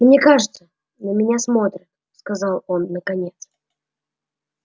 мне кажется на меня смотрят сказал он наконец